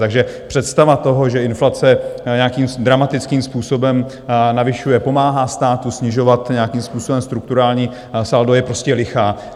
Takže představa toho, že inflace nějakým dramatickým způsobem navyšuje, pomáhá státu snižovat nějakým způsobem strukturální saldo, je prostě lichá.